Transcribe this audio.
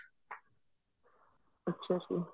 ਅੱਛਾ ਜੀ